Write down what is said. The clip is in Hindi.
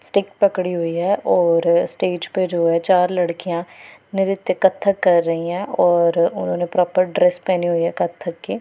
स्टिक पकड़ी हुई है और स्टेज पे जो है चार लड़कियां नृत्य कत्थक कर रही हैं और उन्होंने प्रॉपर ड्रेस पहनी हुई है कत्थक की।